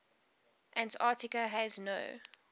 antarctica has no